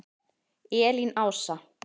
Elín Ása.